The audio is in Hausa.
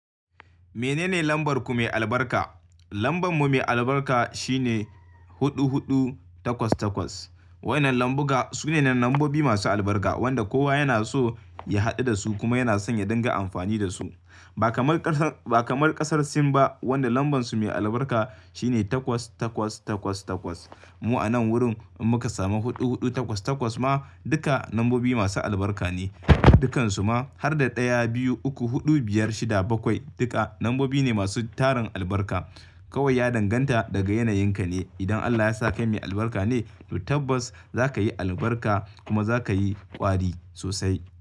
Menene lambar ku mai albarka? Lamba mu mai albarka shine huɗu, huɗu, takwas, takwas. Waɗannan lambobi su ne lambobi masu albarka waɗanda kowa yana so ya haɗu da su kuma yana son ya dinga amfani da su. Ba kamar ƙasar Sin ba wadda lambar su mai albarka shine takwas, takwas, takwas, takwas. Mu a nan wurin in muka samu huɗu, huɗu, takwas, takwas ma duka lambobi masu albarka ne. Dukansu ma har da ɗaya, biyu, uku, huɗu, biyar, shida, bakwai duka lambobi ne masu tarin albarka. Kawai ya danganta daga yanayin ka ne. Idan Allah ya sa kai mai albarka ne to tabbas za ka yi albarka kuma za ka yi ƙwari sosai.